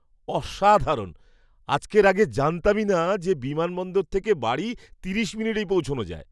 অসাধারণ! আজকের আগে জানতামই না যে বিমানবন্দর থেকে বাড়ি তিরিশ মিনিটেই পৌঁছানো যায়।